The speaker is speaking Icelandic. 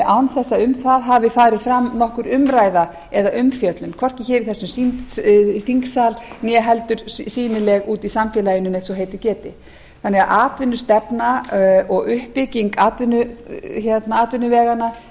án þess að um það hafi farið fram nokkur umræða eða umfjöllun hvorki hér í þessum þingsal né heldur sýnileg úti í samfélaginu neitt svo heitið geti þannig að atvinnustefna og uppbygging atvinnuveganna